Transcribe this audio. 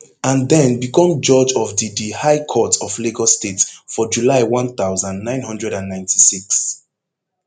and den become judge of di di high court of lagos state for july one thousand, nine hundred and ninety-six